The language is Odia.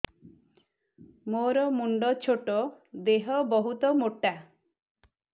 ମୋର ମୁଣ୍ଡ ଛୋଟ ଦେହ ବହୁତ ମୋଟା